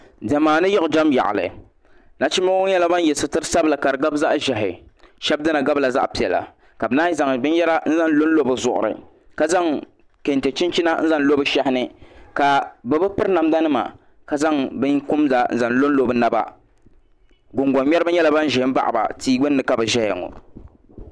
Diɛma ni yiɣijam yaɣali nachimba ŋɔ nyɛla ban ye sitirisabla kadigabi zaɣaʒehi shebi dina gabila zaɣa piɛla ka bɛ naanyi zaŋ binyera n zaŋ lonlo bɛ zuɣuri ka zaŋ kente chinchina n zaŋ lo bɛ shehini ka bɛ bi piri namda nima kazaŋ binkumda n zaŋ lonlo bɛ naba gungoŋ ŋmɛrila nyɛla ban za. m baɣiba tia gbinni ka bɛ ʒɛya ŋɔ.